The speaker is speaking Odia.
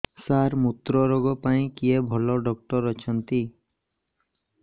ସାର ମୁତ୍ରରୋଗ ପାଇଁ କିଏ ଭଲ ଡକ୍ଟର ଅଛନ୍ତି